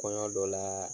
Kɔɲɔ dɔ la